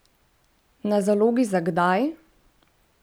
Na zalogi za kdaj?